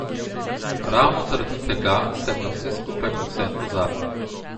Ravno zaradi tega sem na vse skupaj povsem pozabil.